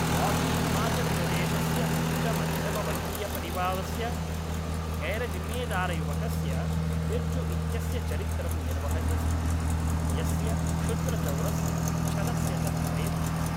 बॉबी हिमाचलप्रदेशस्य उच्चमध्यमवर्गीयपरिवारस्य गैरजिम्मेदारयुवकस्य बिर्जु इत्यस्य चरित्रं निर्वहति स्म, यस्य क्षुद्रचौरस्य, छलस्य च प्रेम आसीत् ।